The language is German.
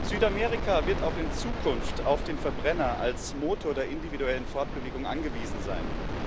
Südamerika wird auch in Zukunft auf den Verbrenner als Motor der individuellen Fortbewegung angewiesen sein.